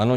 Ano.